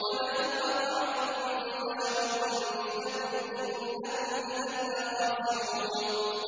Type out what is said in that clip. وَلَئِنْ أَطَعْتُم بَشَرًا مِّثْلَكُمْ إِنَّكُمْ إِذًا لَّخَاسِرُونَ